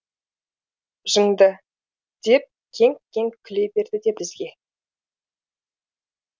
жынды деп кеңк кеңк күле берді де бізге